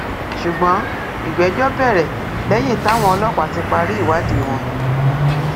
ṣùgbọn ìgbẹjọ bẹrẹ lẹyìn táwọn ọlọpàá ti parí ìwádìí wọn